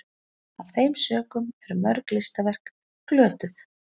af þeim sökum eru mörg listaverk glötuð